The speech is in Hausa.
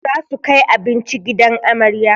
Za su kai abinci gidan amarya